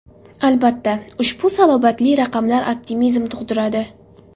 Albatta, ushbu salobatli raqamlar optimizm tug‘diradi.